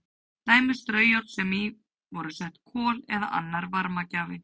Dæmi um straujárn sem í voru sett kol eða annar varmagjafi.